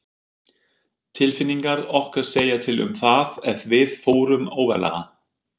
Tilfinningar okkar segja til um það ef við förum óvarlega.